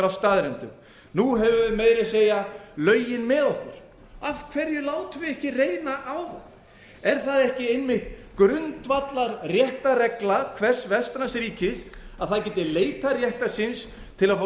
staðreyndum nú höfum við meira að segja lögin með okkur af hverju látum við ekki reyna á þau er það ekki einmitt grundvallarréttarregla hvers vestræns ríkis að það geti leitað réttar síns til að fá